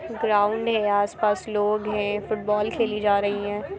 Ground है आस-पास लोग हैं फुटबोल खेली जा रही हैं।